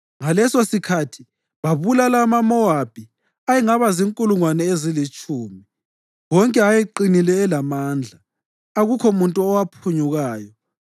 Ngalesosikhathi babulala amaMowabi ayengaba zinkulungwane ezilitshumi, wonke ayeqinile elamandla; akukho muntu owaphunyukayo.